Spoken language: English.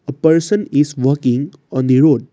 person is walking on the road.